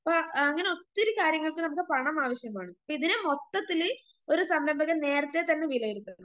അപ്പ അങ്ങനെ ഒത്തിരി കാര്യങ്ങൾക്ക് നമുക്ക് പണം ആവശ്യമാണ് ഇതിന് മൊത്തത്തില് ഒരു സംരംഭകൻ നേരത്തെതന്നെ വിലയിരുത്തണം.